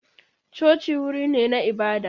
Coci wuri ne na ibada.